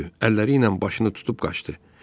Əlləri ilə başını tutub qaçdı.